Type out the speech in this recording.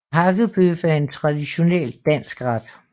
Hakkebøf er en traditionel dansk ret